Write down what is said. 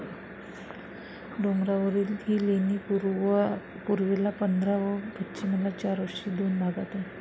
डोंगरावरील ही लेणी पूर्वेला पंधरा व पश्चिमेला चार अशी दोन भागात आहेत.